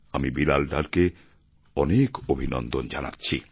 আমি বিলাল ডারকে অনেক অভিনন্দন জানাচ্ছি